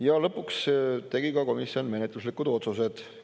Ja lõpuks tegi komisjon menetluslikud otsused.